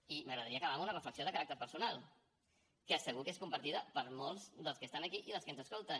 i m’agradaria acabar amb una reflexió de caràcter personal que segur que és compartida per molts dels que estan aquí i dels que ens escolten